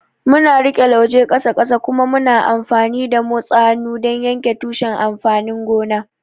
Muna riƙe lauje ƙasa ƙasa kuma muna amfani da motsa hannu don yanke tushen amfanin gona.